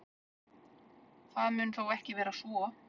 Það mun þó ekki vera svo.